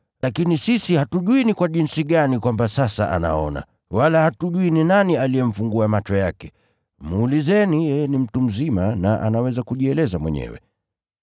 Lakini sisi hatujui ni kwa jinsi gani kwamba sasa anaona, wala hatujui ni nani aliyemfungua macho yake. Muulizeni, yeye ni mtu mzima na anaweza kujieleza mwenyewe.”